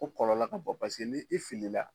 O kɔlɔlɔ ka bon paseke ni i filila